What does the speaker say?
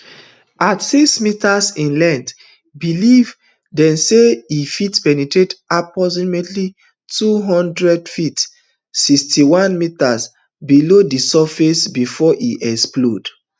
at six metres in length believe dey say e fit penetrate approximately two hundred feet sixty-one metres below di surface bifor e explode